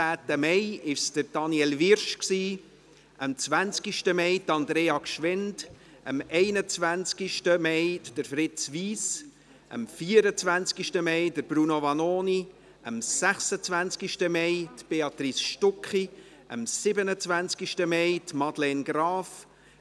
Am 18. Mai war es Daniel Wyrsch, am 20. Mai Andrea Gschwend, am 21. Mai Fritz Wyss, am 24. Mai Bruno Vanoni, am 26. Mai Béatrice Stucki, am 27. Mai Madeleine Graf;